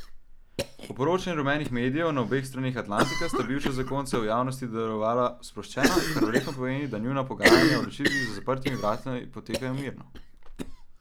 Po poročanju rumenih medijev na obeh straneh Atlantika sta bivša zakonca v javnosti delovala sproščena, kar verjetno pomeni, da njuna pogajanja o ločitvi za zaprtimi vrati potekajo mirno.